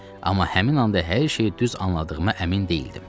Amma həmin anda hər şeyi düz anladığıma əmin deyildim.